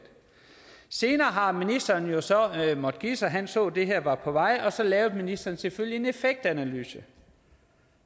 senere har ministeren jo så måtte give sig han så at det her var på vej og så lavede ministeren selvfølgelig en effektanalyse